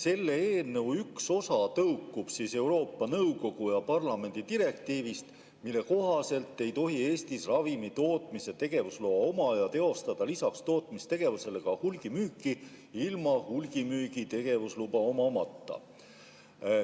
Selle eelnõu üks osa tõukub Euroopa Nõukogu ja parlamendi direktiivist, mille kohaselt ei tohi Eestis ravimitootmise tegevusloa omaja teostada lisaks tootmistegevusele ka hulgimüüki ilma hulgimüügi tegevusluba omamata.